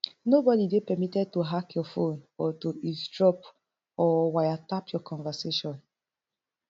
nobody dey permitted to hack your phone or to eavesdrop or waya tap your conversation